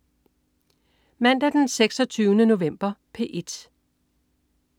Mandag den 26. november - P1: